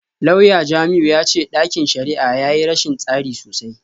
Lauya Jamiu ya ce dakin shari’ar ya yi rashin tsari sosai.